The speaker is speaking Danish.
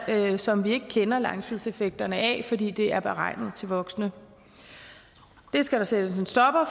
som vi ikke kender langtidseffekterne af fordi det er beregnet til voksne det skal der sættes en stopper